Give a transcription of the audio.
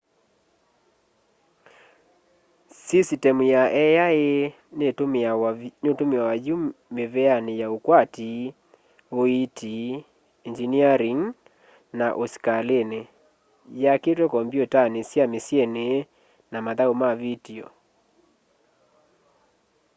sisitemu ya ai nitumiawa yu miveani ya ukwati uiiti engyiniaring na usikalini yakitwe kompyutani sya misyini na mathau ma vitio